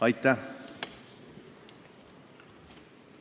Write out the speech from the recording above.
Aitäh!